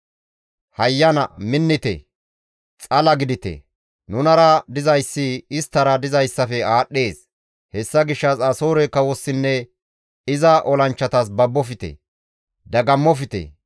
«Hayyana minnite! Xala gidite! Nunara dizayssi isttara dizayssafe aadhdhees; hessa gishshas Asoore kawossinne iza olanchchatas babofte; dagammofte.